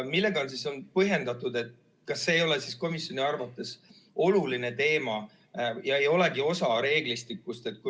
Millega on seda põhjendatud, kui komisjoni arvates ei olegi see oluline teema ja ei olegi osa reeglistikust?